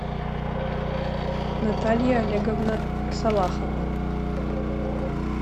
наталья олеговна салахова